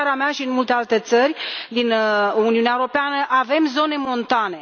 În țara mea și în multe alte țări din Uniunea Europeană, avem zone montane.